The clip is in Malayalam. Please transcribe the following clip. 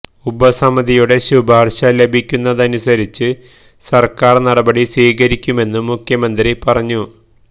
ഉപസമിതിയുടെ ശുപാര്ശ ലഭിക്കുന്നതിനനുസരിച്ച് സര്ക്കാര് നടപടി സ്വീകരിക്കുമെന്നും മുഖ്യമന്ത്രി പറഞ്ഞു